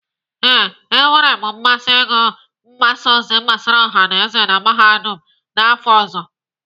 Ee, e nwere m mmasị ịgụ mgbasa ozi gbasara ọha na Mahadum n'afọ ọzọ.